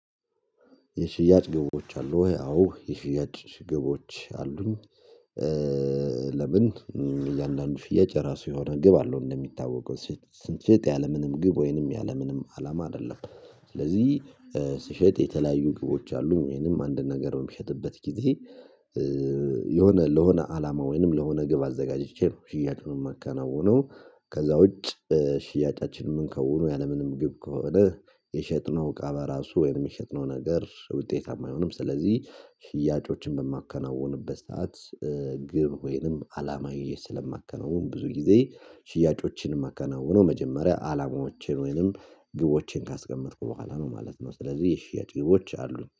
የሽያጭ ግቦች አሉ ወይ? አዎ የሽያጭ ግቦች አሉኝ። ለምን እያንዳንዱ ሽያጭ ራሱ የሆነ ግብ አለው እንደሚታወቀው። ስን ሽጥ ያለምንም ግብ ወይንም ያለምንም አላማ አይደለም። ስለዚህ ስሸጥ የተለያዩ ግቦች አሉኝ። ወይንም አንድ ነገር በሚሸጥበት ጊዜ የሆነ ለሆነ አላማ ወይንም ለሆነ ግብ አዘጋጅቼ ነው ሽያጩን የማከናውነው። ከዛ ውጭ ሽያጫችንን ከሆኑ ያለምንም ግብ ከሆነ የሸጥነው እቃ በራሱ ወይም የሸጥነው ነገር ውጤታማ አይሆንም። ስለዚህ ሽያጮችን በማከናውንበት ሰዓት ግብ ወይንም አላማዬ ስለማከናውን፤ ብዙ ጊዜ ሽያጮችን የማከናውኖ መጀመሪያ አላማዎቼን፤ ወይንም ግቦቼን ካስቀመጥኩ በኋላ ነው ማለት። ነው ስለዚህ የሽያጭ ግቦች አሉኝ።